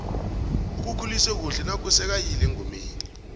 ukukhulisa kuhle naku sekayile engomeni